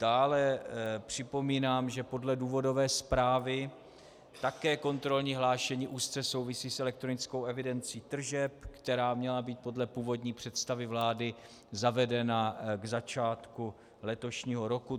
Dále připomínám, že podle důvodové zprávy také kontrolní hlášení úzce souvisí s elektronickou evidencí tržeb, která měla být podle původní představy vlády zavedena k začátku letošního roku.